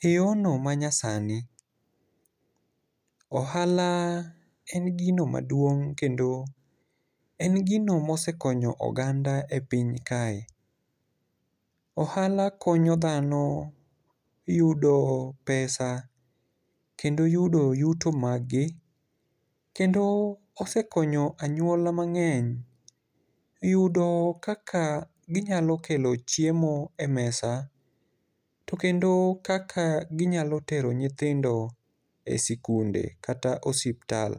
e yorno ma nyasani. Ohala en gino maduong', kendo en gino ma osekonyo oganda e piny kae. Ohala konyo dhano yudo pesa. Kendo yudo yuto maggi. Kendo osekonyo anyuola mang'eny yudo kaka ginyalo kelo chiemo e mesa. To kendo kaka ginyalo tero nyithindo e sikunde kata osiptal.